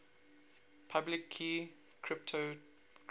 public key cryptography